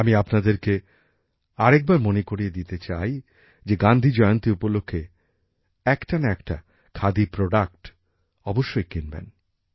আমি আপনাদেরকে আরেকবার মনে করিয়ে দিতে চাই যে গান্ধীজয়ন্তী উপলক্ষে একটা না একটা খাদির জিনিস অবশ্যই কিনবেন